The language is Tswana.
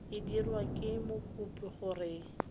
e dirwa ke mokopi gore